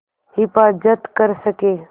हिफ़ाज़त कर सकें